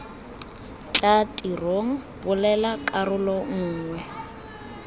tla tirong bulela karolo nngwe